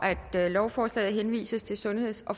at lovforslaget henvises til sundheds og